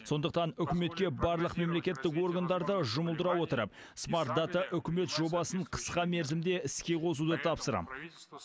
сондықтан үкіметке барлық мемлекеттік органдарды жұмылдыра отырып смарт дата үкімет жобасын қысқа мерзімде іске қосуды тапсырам